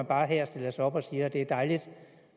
bare stiller sig op og siger at det er dejligt